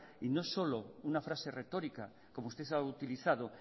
y no solo una frase retórica como usted ha utilizado